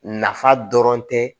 Nafa dɔrɔn tɛ